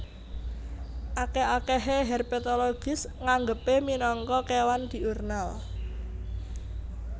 Akèh akèhé herpetologis nganggepé minangka kéwan diurnal